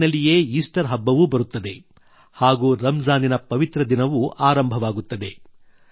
April ನಲ್ಲಿಯೇ Easter ಹಬ್ಬವೂ ಬರುತ್ತದೆ ಹಾಗೂ ರಮ್ ಜಾನಿನ ಪವಿತ್ರ ದಿನವೂ ಆರಂಭವಾಗುತ್ತದೆ